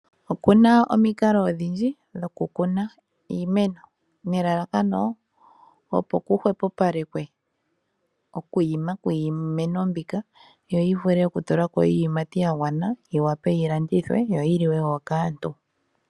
Okuna omikalo odhindji dho kukuna iimeno, nelalakano opo kuhwepopalekwe okwiima kwiimeno mbika yo yivule okutula ko iiyimati yagwana yiwape yilandithwe yo yi liwe wo kaantu.